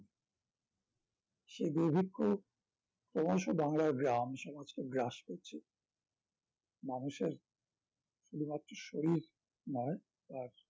সেই দুর্ভিক্ষ ক্রমশ বাংলার গ্রামসমাজকে গ্রাস করছে মানুষের শুধুমাত্র শরীর মাড় আর